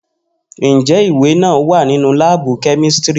Njẹ iwe naa wa ninu laabu kemistri?